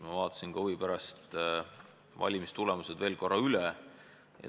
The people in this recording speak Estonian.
Ma vaatasin huvi pärast valimistulemused veel korra üle.